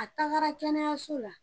A tagara kɛnɛyaso la.